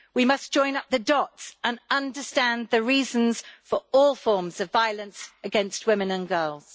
We must join up the dots and understand the reasons for all forms of violence against women and girls.